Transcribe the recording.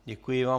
Děkuji vám.